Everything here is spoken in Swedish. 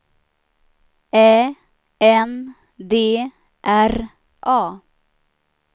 Ä N D R A